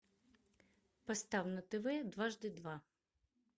поставь на тв дважды два